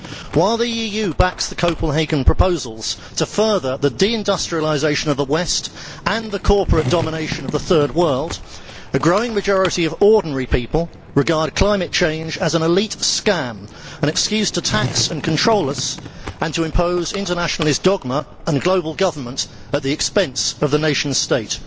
While the EU backs the Copenhagen proposals to further the deindustrialisation of the West and the corporate domination of the Third World, a growing majority of ordinary people regard climate change as an elite scam an excuse to tax and control us and to impose internationalist dogma and global government at the expense of the nation state.